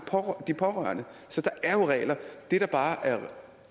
de pårørende så der det der bare er